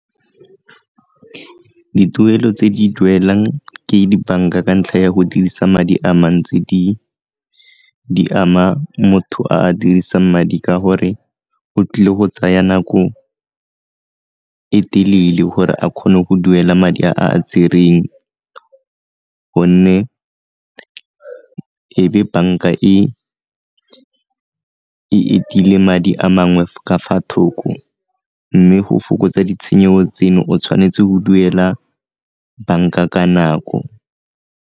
Dituelo tse di duelang ke dibanka ka ntlha ya go dirisa madi a mantsi di ama motho a a dirisang madi ka gore o tlile go tsaya nako e telele gore a kgone go duela madi a a tsereng gonne e be banka e madi a mangwe ka fa thoko, mme go fokotsa ditshenyego tseno o tshwanetse go duela banka ka nako.